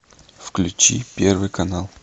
включи первый канал